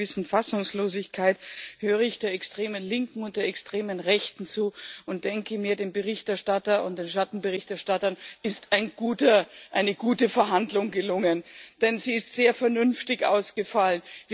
Mit einer gewissen Fassungslosigkeit höre ich der extremen Linken und extremen Rechten zu und denke mir, dem Berichterstatter und den Schattenberichterstattern ist eine gute Verhandlung gelungen, denn sie ist sehr vernünftig ausgefallen.